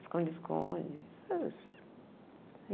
Esconde-esconde.